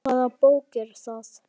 Hvaða bók er það?